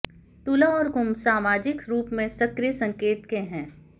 तुला और कुंभ सामाजिक रूप से सक्रिय संकेत के हैं